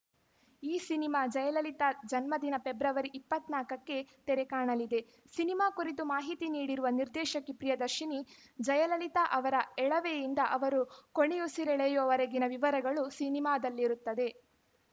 ಈ ಸಿನಿಮಾ ಜಯಲಲಿತಾ ಜನ್ಮದಿನ ಫೆಬ್ರವರಿ ಇಪ್ಪತ್ತ್ ನಾಲ್ಕಕ್ಕೆ ತೆರೆಕಾಣಲಿದೆ ಸಿನಿಮಾ ಕುರಿತು ಮಾಹಿತಿ ನೀಡಿರುವ ನಿರ್ದೇಶಕಿ ಪ್ರಿಯದರ್ಶಿನಿ ಜಯಲಲಿತಾ ಅವರ ಎಳವೆಯಿಂದ ಅವರು ಕೊನೆಯುಸಿರೆಳೆಯುವವರೆಗಿನ ವಿವರಗಳು ಸಿನಿಮಾದಲ್ಲಿರುತ್ತದೆ